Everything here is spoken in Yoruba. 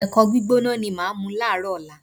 Ẹ̀kọ gbígbóná ni màá mu láàárọ̀ ọ̀la